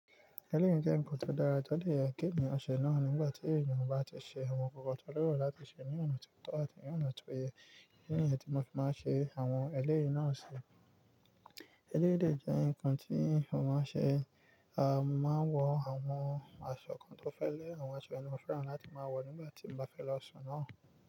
Ẹlẹ́yí jẹ́ ǹkan tó dára tọ de yeń k'eeyan ṣẹ náà nígbà tí ènìyàn bá ti ṣe àwọn ǹkan tó leró láti ṣe ní ọ̀nà tó tọ̀ àti ní ọ̀nà tó yẹ. Idi níyẹn ti mo fi máa ń ṣe àwọn ẹlẹ́yí náà ṣe. Ẹlẹ́yí dè jẹ́ ǹkan tí mo máa ṣe, a mo máa ń wọ àwọn aṣọ kan tó fẹ́lẹ àwọn aṣọ yi ni mo fẹ́ràn láti máa wọ̀ nígbà tí mo bá fẹ́ lọ ṣun náà.